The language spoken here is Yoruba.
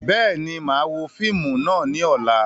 Bẹ́ẹ̀ni, máa wo fíìmù náà ni ọ̀la